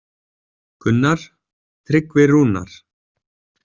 Gunnar: Tryggvi Rúnar.